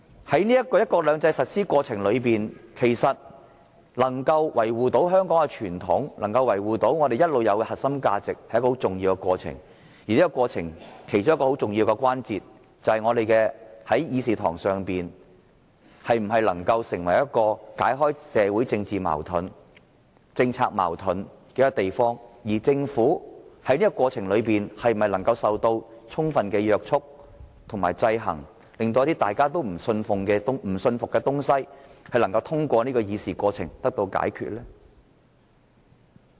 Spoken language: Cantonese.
在"一國兩制"的實施過程中，維護香港的傳統和長久以來的核心價值十分重要，而其中一個重要關鍵，就是我們的議事堂能否解開社會和政治矛盾，政府又是否受到充分約束和制衡，令市民不表信服的事項能夠透過立法會的議事過程解決。